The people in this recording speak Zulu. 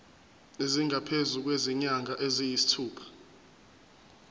esingaphezu kwezinyanga eziyisithupha